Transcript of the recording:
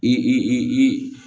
I i i i